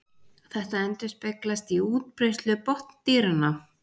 Þetta endurspeglast í útbreiðslu botndýranna.